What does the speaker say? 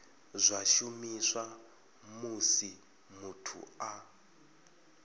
zwa shumiswa musi muthu a